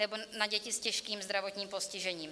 Nebo na děti s těžkým zdravotním postižením.